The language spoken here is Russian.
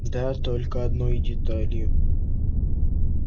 да только одной деталью